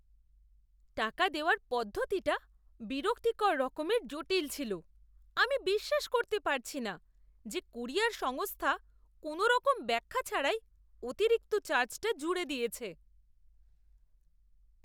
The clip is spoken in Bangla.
টাকা দেওয়ার পদ্ধতিটা বিরক্তিকর রকমের জটিল ছিল; আমি বিশ্বাস করতে পারছি না যে কুরিয়ার সংস্থা কোনওরকম ব্যাখ্যা ছাড়াই অতিরিক্ত চার্জটা জুড়ে দিয়েছে।